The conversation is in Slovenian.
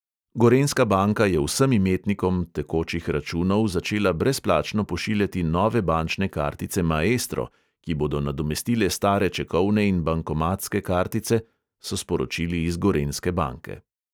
Gorenjska banka je vsem imetnikom tekočih računov začela brezplačno pošiljati nove bančne kartice maestro, ki bodo nadomestile stare čekovne in bankomatske kartice, so sporočili iz gorenjske banke.